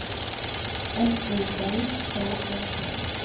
F O L K E T